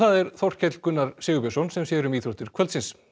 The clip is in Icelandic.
er Þorkell Gunnar Sigurbjörnsson sem sér um íþróttir kvöldsins